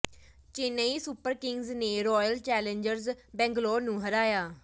Chennai super kings ਨੇ royal challengers Bangalore ਨੂੰ ਹਰਾਇਆ